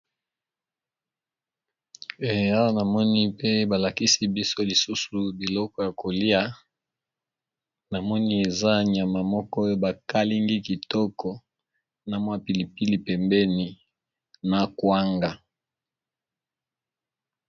Sani ya mbele ya pembe batiye bongo nyama ya ngulu ba balinga na kwanga pembeni.